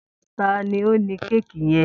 Ta ni ó ní kéèkì yẹn?